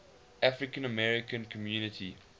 african american community